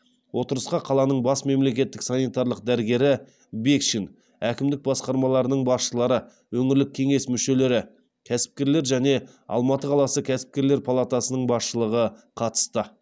отырысқа қаланың бас мемлекеттік санитарлық дәрігері бекшин әкімдік басқармаларының басшылары өңірлік кеңес мүшелері кәсіпкерлер және алматы қаласы кәсіпкерлер палатасының басшылығы қатысты